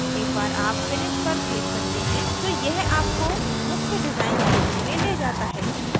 एक बार आप finish पर क्लिक करते हैं तो यह आपको मुख्य डिजाइन क्षेत्र में ले जाता है